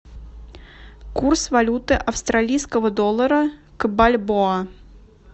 курс валюты австралийского доллара к бальбоа